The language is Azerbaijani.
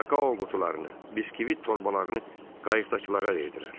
Kakao qutularını, biskvit torbalarını qayıqdakılara verdilər.